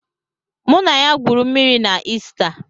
Mụ na ya gwuru mmịrị na Ista.